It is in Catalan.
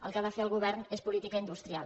el que ha de fer el govern és política industrial